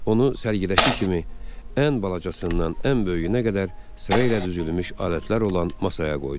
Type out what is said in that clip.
Onu sərgidəki kimi ən balacasından ən böyüyünə qədər sıra ilə düzülmüş alətlər olan masaya qoydu.